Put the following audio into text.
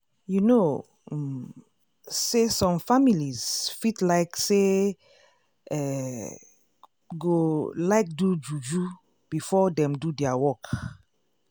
you know um say some families fit like say eeh / go like do juju before dem do dia work.